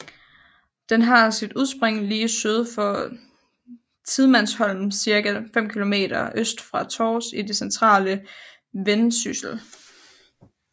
Den har sit udspring lige syd for Tidemandsholm cirka 5 kilometer øst for Tårs i det centrale Vendsyssel